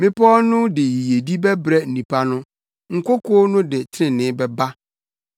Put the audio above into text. Mmepɔw no de yiyedi bɛbrɛ nnipa no, nkoko no de trenee bɛba.